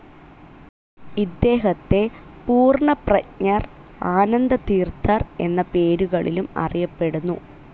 ഇദ്ദേഹത്തെ പൂർണ്ണപ്രജ്ഞർ, ആനന്ദതീർത്ഥർ എന്ന പേരുകളിലും അറിയപ്പെടുന്നു.